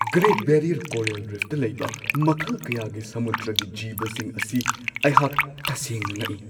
Great Barrier coral ꯔꯤꯐꯇ ꯂꯩꯕ ꯃꯈꯜ ꯀꯌꯥꯒꯤ ꯁꯃꯨꯗ꯭ꯔꯒꯤ ꯖꯤꯕꯁꯤꯡ ꯑꯁꯤ ꯑꯩꯍꯥꯛ ꯇꯁꯦꯡꯅ ꯉꯛꯏ꯫